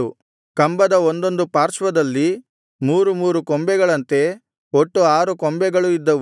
ಕಂಬದ ಒಂದೊಂದು ಪಾರ್ಶ್ವದಲ್ಲಿ ಮೂರು ಮೂರು ಕೊಂಬೆಗಳಂತೆ ಒಟ್ಟು ಆರು ಕೊಂಬೆಗಳು ಇದ್ದವು